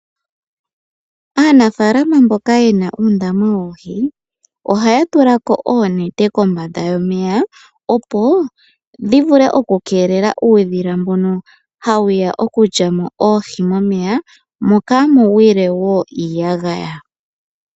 Aanafaalama mboka yena uundama woohi ohaya tula ko oonete kombanda yomeya. Opo dhi vule oku keelela uudhila mbono hawu ya okulya mo oohi momeya mo kaamu gwile woo iiyagaya .